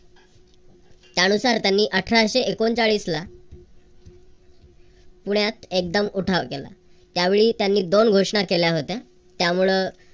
त्यानुसार त्यांनी अठराशे एकोणचाळीस ला पुण्यात एकदम उठाव केला. त्यावेळी त्यांनी दोन घोषणा केल्या होत्या. त्यामुळ